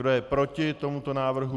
Kdo je proti tomuto návrhu?